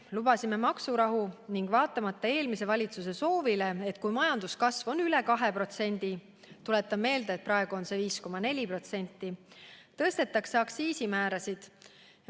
Lubasime maksurahu ning vaatamata eelmise valitsuse soovile, et kui majanduskasv on üle 2% – tuletan meelde, et praegu on see 5,4% –, siis tõstetakse aktsiisimäärasid.